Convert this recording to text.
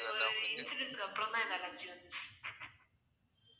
ஒரு incident கு அப்புறம் தன் இந்த allergy வந்துச்சு